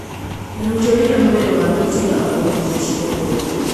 Na tũtionire mwĩrĩ wake tiga o nguo ciake".